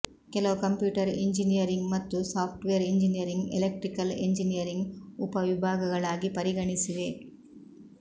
ಕೆಲವು computer engineering ಮತ್ತು software engineering electrical engineering ಉಪವಿಭಾಗಗಳಾಗಿ ಪರಿಗಣಿಸಿವೆ